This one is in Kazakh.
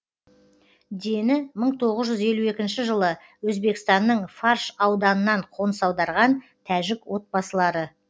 дені бір мың тоғыз жүз елу екінші жылы өзбекстанның фарш ауданынан қоныс аударған тәжік отбасылары